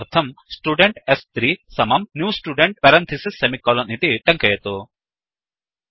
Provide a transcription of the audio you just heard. तदर्थं student s3 new Student इति टङ्कयतु